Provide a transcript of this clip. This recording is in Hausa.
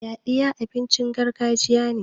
yaɗiya abincin gargajiya ne